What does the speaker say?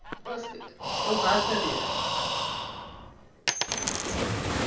બસ એવું ખાસ નથી યાર હમ